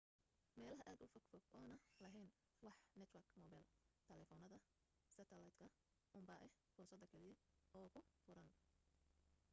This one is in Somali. meelaha aad ufog fog oona laheyn wax network mobila taleefanada seterlaydka unbaa ah fursada kaliya oo kuu furan